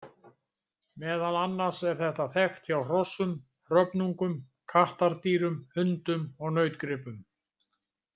Meðal annars er þetta þekkt hjá hrossum, hröfnungum, kattardýrum, hundum og nautgripum.